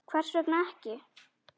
Hvers vegna ekki?